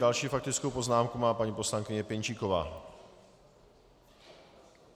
Další faktickou poznámku má paní poslankyně Pěnčíková.